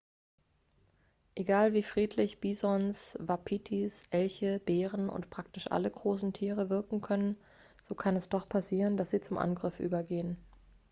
egal wie friedlich bisons wapitis elche bären und praktisch alle großen tiere wirken können so kann es doch passieren dass sie zum angriff übergehen